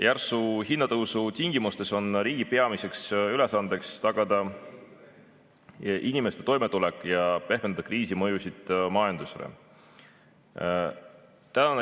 Järsu hinnatõusu tingimustes on riigi peamine ülesanne tagada inimeste toimetulek ja pehmendada kriisi mõjusid majandusele.